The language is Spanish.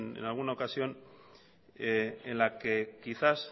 en alguna ocasión en la que quizás